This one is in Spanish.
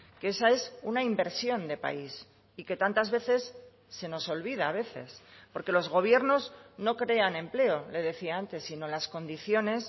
que esa es una inversión de país y que tantas veces se nos olvida a veces porque los gobiernos no crean empleo le decía antes sino las condiciones